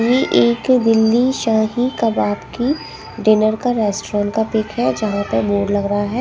इ एक दिल्ली शाही कबाब की डिनर का रेस्टोरेंट का पिक हैं जहाँ पर बोर्ड लगा रहा हैं ।